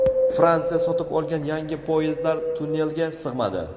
Fransiya sotib olgan yangi poyezdlar tunnelga sig‘madi .